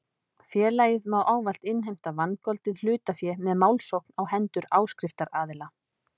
Félagið má ávallt innheimta vangoldið hlutafé með málsókn á hendur áskriftaraðila.